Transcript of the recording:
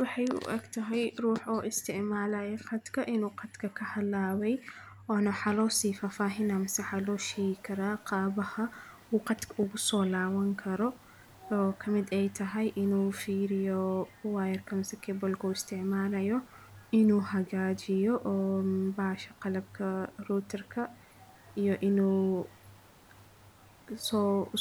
Waxay u eg tahay ruux oo isticmaalaya khadka inuu khadka ka halaway oona waxa lo sii faah-faahin ah mise xalooyin karaa qaabaha ugu soo laaban karo oo ka mid ay tahay inuu fiiriyo wiyarka mase kebolka uu isticmaalayo inuu hagaajiyo oo bahasha qalabka rotirka iyo inuu